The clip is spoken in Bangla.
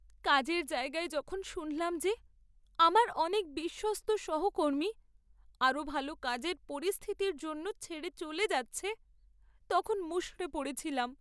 কাজের জায়গায় যখন শুনলাম যে আমার অনেক বিশ্বস্ত সহকর্মী আরও ভালো কাজের পরিস্থিতির জন্য ছেড়ে চলে যাচ্ছে, তখন মুষড়ে পড়েছিলাম।